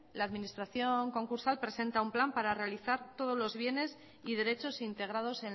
la administración concursal presenta un plan para realizar todos los bienes y derechos integrados